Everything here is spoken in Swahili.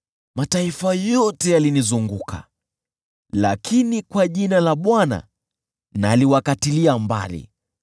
Mataifa yote yalinizunguka, lakini kwa jina la Bwana naliwakatilia mbali.